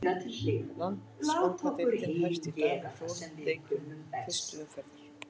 Landsbankadeildin hefst í dag með fjórum leikjum fyrstu umferðar.